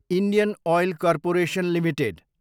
Indian oil corporation Ltd